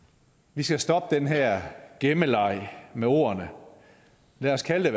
vi skal stoppe den her gemmeleg med ordene lad os kalde